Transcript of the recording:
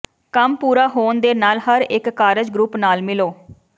ਕੰਮ ਪੂਰਾ ਹੋਣ ਦੇ ਨਾਲ ਹਰੇਕ ਕਾਰਜ ਗਰੁੱਪ ਨਾਲ ਮਿਲੋ